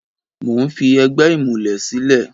Mo ń fi ẹgbẹ́ ìmùlẹ̀ sílẹ̀.